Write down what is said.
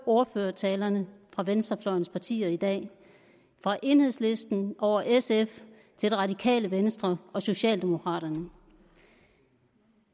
ordførertalerne fra venstrefløjens partier i dag fra enhedslisten over sf til det radikale venstre og socialdemokraterne